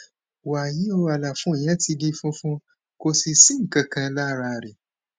wàyí o àlàfo yẹn ti di funfun kò sì sí nǹkan kan lára rẹ